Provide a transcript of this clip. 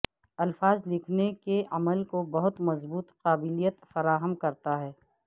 الفاظ لکھنے کے عمل کو بہت مضبوط قابلیت فراہم کرتا ہے